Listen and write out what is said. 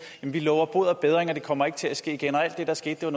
vi lover bod og bedring det kommer ikke til at ske igen og alt det der skete var